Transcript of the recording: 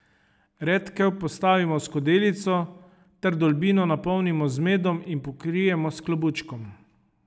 Redkev postavimo v skodelico ter vdolbino napolnimo z medom in pokrijemo s klobučkom.